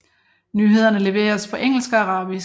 Nyhederne leveres på engelsk og arabisk